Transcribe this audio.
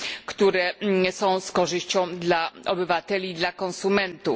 które są z korzyścią dla obywateli i konsumentów.